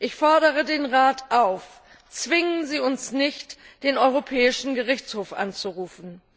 Ich fordere den Rat auf Zwingen Sie uns nicht, den Europäischen Gerichtshof anzurufen!